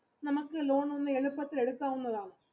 നമ്മക്ക് loan ഒന്ന് എളുപ്പത്തിൽ എടുക്കാവുന്നതാണ്